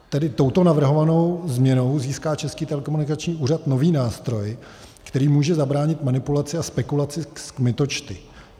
Tedy touto navrhovanou změnou získá Český telekomunikační úřad nový nástroj, který může zabránit manipulaci a spekulaci s kmitočty.